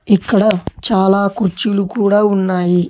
ఇక్కడ చాలా కుచ్చులు కూడా ఉన్నాయి.